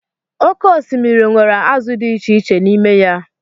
oké osimiri nwere azụ di echiche n'ime ya.